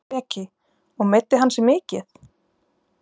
Breki: Og meiddi hann sig mikið?